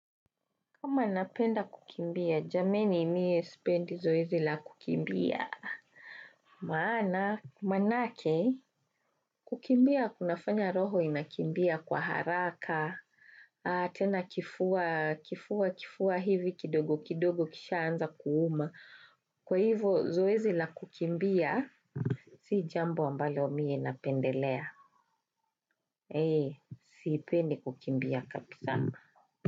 Kama napenda kukimbia, jameni mie sipendi zoezi la kukimbia. Maana, maanake, kukimbia kunafanya roho inakimbia kwa haraka, tena kifua, kifua, kifua hivi kidogo kidogo kisha anza kuuma. Kwa hivyo, zoezi la kukimbia, si jambo ambalo mie napendelea. Hee, sipendi kukimbia kabisa.